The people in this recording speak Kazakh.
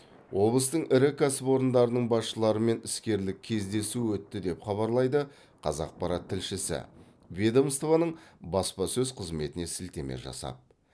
облыстың ірі кәсіпорындарының басшыларымен іскерлік кездесу өтті деп хабарлайды қазақпарат тілшісі ведомствоның баспасөз қызметіне сілтеме жасап